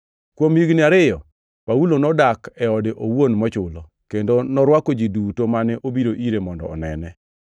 Kuom higni ariyo, Paulo nodak e ode owuon mochulo, kendo norwako ji duto mane obiro ire mondo onene.